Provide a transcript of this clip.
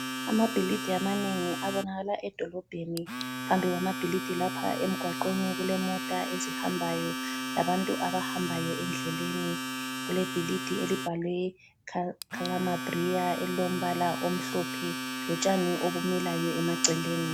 Amabhilidi amanengi abonakala edolobheni. Phambi kwamabhilidi lapha emgwaqweni kulemota ezihambayo labantu abahambayo endleleni. Kule bhilidi elibhalwe khalama briya elilombala omhlophe lotshani obumilayo emaceleni.